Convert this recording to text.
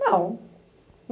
Não.